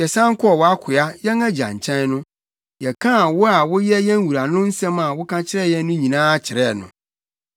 Yɛsan kɔɔ wʼakoa, yɛn agya nkyɛn no, yɛkaa wo a woyɛ yɛn wura no nsɛm a woka kyerɛɛ yɛn no nyinaa kyerɛɛ no.